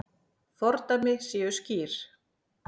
Fordæmi séu skýr.